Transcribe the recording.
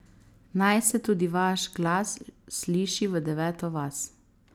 Naj se tudi vaš glas sliši v deveto vas!